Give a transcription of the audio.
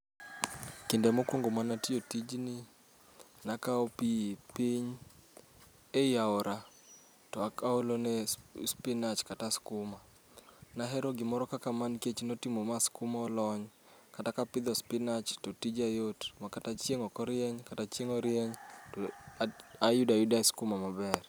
Kinde mokwongo manatiyo tijni, nakawo pi piny e i aora. To akaolone spinach kata skuma, nahero gimoro kaka ma nikech notimo ma skuma olony. Kata kapidho spinach to tija yot, ma kata chieng' okorieny, kata chieng' orieny, tayuda yuda skuma maber.